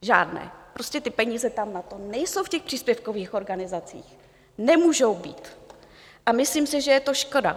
Žádné, prostě ty peníze tam na to nejsou, v těch příspěvkových organizacích, nemůžou být, s myslím si, že je to škoda.